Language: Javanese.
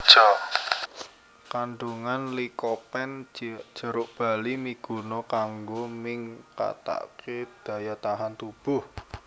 Kandungan likopen jeruk bali miguna kanggo ningkataké daya tahan tubuh